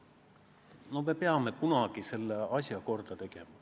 Me peame ükskord selle asja korda tegema.